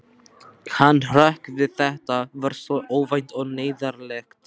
Hann hrökk við, þetta var svo óvænt og neyðarlegt.